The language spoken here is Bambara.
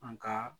An ka